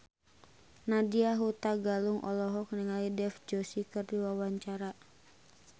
Nadya Hutagalung olohok ningali Dev Joshi keur diwawancara